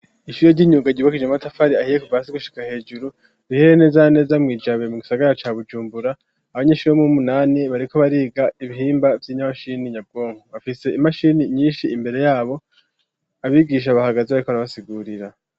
Ishure ry'imyuga ryubakishije matafari ahiye kuva hasi gushika hejuru Riherereye neza neza mwi Jabe mu gisagara ca Bujumbura. Abanyeshure bo muwu munani bariko bariga ibihimba vy'inyamashini nyabwongo bafise imashini nyishi imbere yabo abigisha bahagaze barikora basigurira.